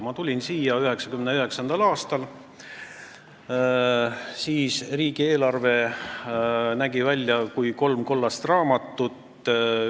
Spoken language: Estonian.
Ma tulin siia 1999. aastal ja siis oli riigieelarve kolme kollase raamatu kujul.